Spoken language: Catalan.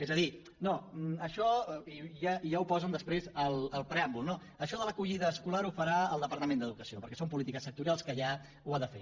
és a dir no això ja ho posen després al preàmbul no això de l’acollida escolar ho farà el departament d’educació perquè són polítiques sectorials que ja ho ha de fer